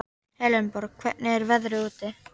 Elenborg, hvernig er veðrið úti?